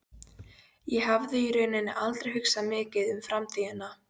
Ég hafði í rauninni aldrei hugsað mikið um framtíðina.